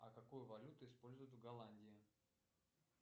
а какую валюту используют в голландии